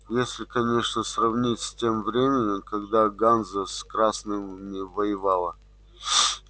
если конечно сравнивать с тем временем когда ганза с красными воевала